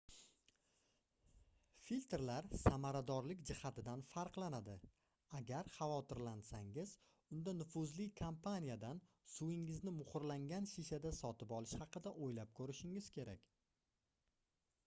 filtrlar samaradorlik jihatidan farqlanadi agar xavotirlansangiz unda nufuzli kompaniyadan suvingizni muhrlangan shishada sotib olish haqida oʻylab koʻrishingiz kerak